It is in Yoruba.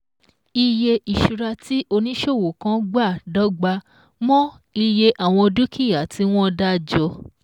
Iye ìṣura tí oníṣòwò kan gbà dọ́gba mọ́ iye àwọn dúkìá tí wón dá jọ